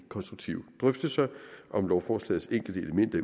konstruktive drøftelser om lovforslagets enkelte elementer